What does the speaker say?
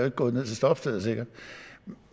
ikke gået ned til stoppestedet